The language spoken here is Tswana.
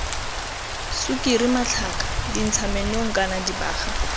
sukiri matlhaka dintshamenong kana dibaga